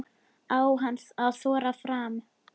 Á hann að þora fram?